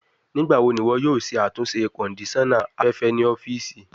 Nigbawo ni iwọ yoo ṣe atunṣe kondisona afẹfẹ ni ọfiisi?